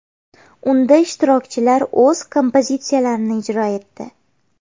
Unda ishtirokchilar o‘z kompozitsiyalarini ijro etdi.